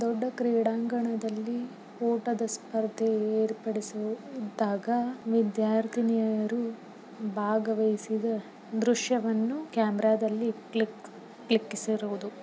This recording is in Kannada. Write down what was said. ದೊಡ್ಡ ಕ್ರೀಡಾಂಗಣದಲ್ಲಿ ಓಟದ ಸ್ಪರ್ಧೆ ಏರ್ಪಡಿಸಿದಾಗ ವಿದ್ಯಾರ್ಥಿನಿಯರು ಭಾಗಹವಹಿಸಿದ ದೃಶ್ಯಾವನ್ನು ಕ್ಯಾಮೆರಾದಲ್ಲಿ ಕ್ಲಿಕ್ ಕ್ಲಿಕ್ಸಿರುವುದು.